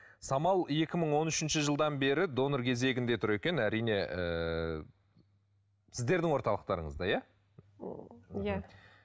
самал екі мың он үшінші жылдан бері донор кезегінде тұр екен әрине ыыы сіздердің орталықтарыңызда иә иә